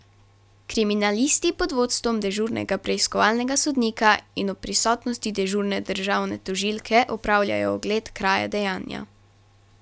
Kriminalisti pod vodstvom dežurnega preiskovalnega sodnika in ob prisotnosti dežurne državne tožilke opravljajo ogled kraja dejanja.